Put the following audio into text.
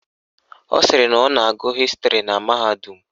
Ọ sịrị na ọ na-agụ Hịstịrị na mahadum